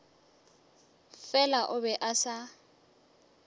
fela o be a sa